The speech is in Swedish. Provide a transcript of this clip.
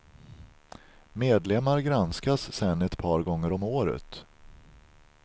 Medlemmar granskas sen ett par gånger om året.